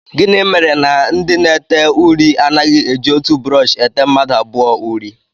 Gịnị mere na ndị na-ede uri anaghị eji otu brọọshị ete mmadụ abụọ uri?